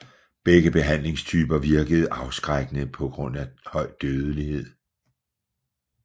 Begge behandlingstyper virkede afskrækkende pga høj dødelighed